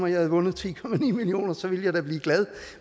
jeg havde vundet ti million kr så ville jeg da blive glad